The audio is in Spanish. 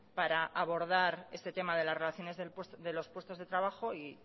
para abordar este tema de las relaciones de los puestos de trabajo